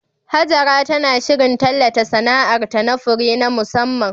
Hajara tana shirin tallata sana'arta na fure na musamman